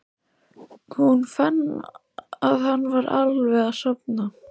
Hún fann að hann var alveg að sofna.